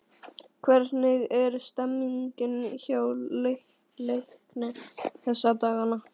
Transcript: Hvernig er stemmningin hjá Leikni þessa dagana?